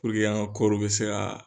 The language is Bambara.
an ka kɔɔri bɛ se ka